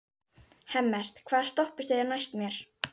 Hemmert, hvaða stoppistöð er næst mér?